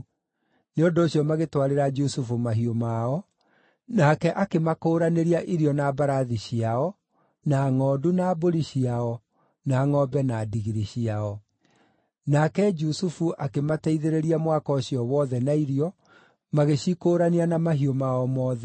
Nĩ ũndũ ũcio magĩtwarĩra Jusufu mahiũ mao, nake akĩmakũũranĩria irio na mbarathi ciao, na ngʼondu na mbũri ciao, na ngʼombe na ndigiri ciao. Nake Jusufu akĩmateithĩrĩria mwaka ũcio wothe na irio, magĩcikũũrania na mahiũ mao mothe.